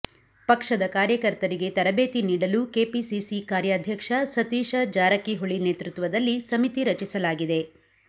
ಪಕ್ಷದ ಕಾರ್ಯಕರ್ತರಿಗೆ ತರಬೇತಿ ನೀಡಲು ಕೆಪಿಸಿಸಿ ಕಾರ್ಯಾಧ್ಯಕ್ಷ ಸತೀಶ ಜಾರಕಿಹೊಳಿ ನೇತೃತ್ವದಲ್ಲಿ ಸಮಿತಿ ರಚಿಸಲಾಗಿದೆ